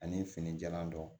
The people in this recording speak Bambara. Ani fini jalan dɔ